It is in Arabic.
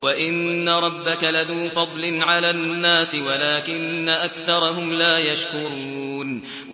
وَإِنَّ رَبَّكَ لَذُو فَضْلٍ عَلَى النَّاسِ وَلَٰكِنَّ أَكْثَرَهُمْ لَا يَشْكُرُونَ